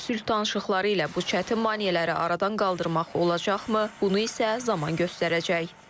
Sülh danışıqları ilə bu çətin maneələri aradan qaldırmaq olacaqmı, bunu isə zaman göstərəcək.